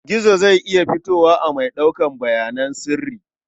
Gizo zai iya fitowa a mai ɗaukar bayanan sirri.